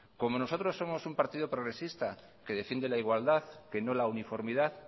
como nosotros somos un partido progresista que defiende la igualdad que no la uniformidad